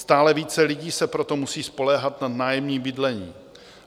Stále více lidí se proto musí spoléhat na nájemní bydlení.